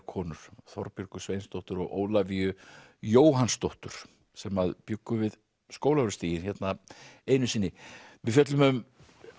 konur Þorbjörgu Sveinsdóttur og Ólafíu Jóhannsdóttur sem bjuggu við Skólavörðustíginn hérna einu sinni við fjöllum um